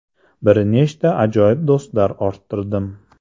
Bir nechta ajoyib do‘stlar orttirdim!